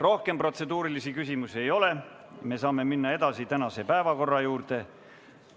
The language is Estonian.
Rohkem protseduurilisi küsimusi ei ole ja me saame minna tänase päevakorra juurde.